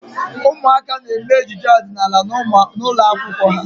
Ụmụaka na-eme ejije ọdịnaala n'ụlọ akwụkwọ ha.